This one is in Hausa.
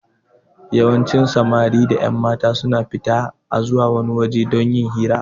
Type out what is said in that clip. Yawancin Samari da ƴanmata suna fita a zuwa wani waje don yin fira